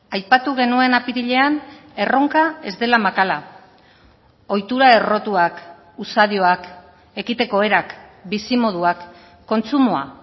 aipatu genuen apirilean erronka ez dela makala ohitura errotuak usadioak ekiteko erak bizimoduak kontsumoa